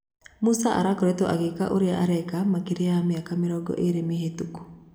"Musa akoretwo agĩka ũria areka makĩria ya mĩaka mĩrongo ĩrĩ mĩhetũku"